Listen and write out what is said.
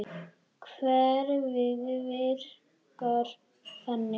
Kerfið virkar þannig.